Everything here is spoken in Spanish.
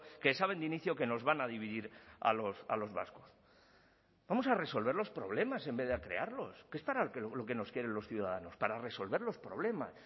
que saben de inicio que nos van a dividir a los vascos vamos a resolver los problemas en vez de a crearlos que es para lo que nos quieren los ciudadanos para resolver los problemas